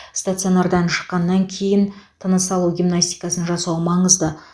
стационардан шыққаннан кейін тыныс алу гимнастикасын жасау маңызды